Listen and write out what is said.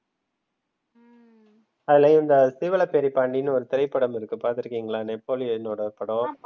அதுல இந்த சீவலப்பேரி பாண்டினு ஒரு திரைபடம் இருக்கு பாத்துருகிங்களா? நெப்போலியனோட படம்.